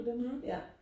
mhm